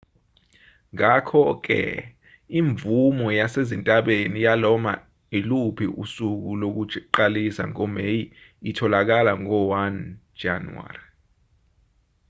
ngakho-ke imvume yasezintabeni yanoma iluphi usuku lokuqalisa ngomeyi itholakala ngo-1 jan